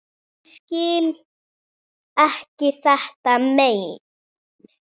Ég skil ekki þetta mein.